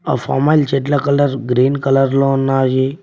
ఆ ఫామ్ఆయిల్ చెట్ల colour green colour లో ఉన్నాయి.